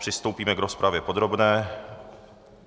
Přistoupíme k rozpravě podrobné.